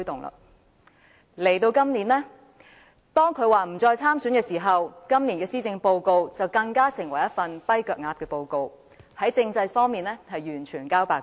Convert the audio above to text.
今年，當他表示不再參選行政長官選舉後，今年的施政報告更成為一份"跛腳鴨"報告，在政制方面完全交白卷。